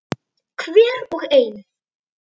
Hver og ein.